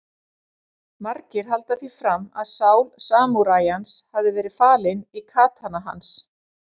Margir halda því fram að sál samúræjans hafi verið falin í katana hans.